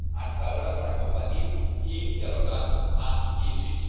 —hasta ahora— para combatir y derrotar a ISIS.